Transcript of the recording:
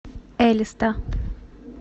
элиста